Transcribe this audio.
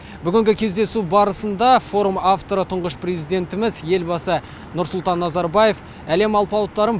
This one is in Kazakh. бүгінгі кездесу барысында форум авторы тұңғыш президентіміз елбасы нұрсұлтан назарбаев әлем алпауыттарын